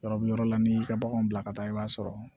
Yɔrɔbi yɔrɔ la n'i y'i ka baganw bila ka taa i b'a sɔrɔ